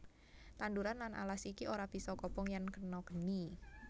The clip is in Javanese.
Tanduran lan alas iki ora bisa kobong yèn kena geni